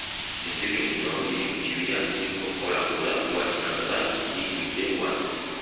Ezzike lino liri mu kibira kirimu obukoolakoola obwa kiragala litudde wansi